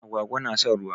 Agwaga na son ruwa.